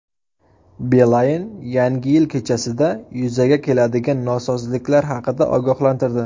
Beeline Yangi yil kechasida yuzaga keladigan nosozliklar haqida ogohlantirdi.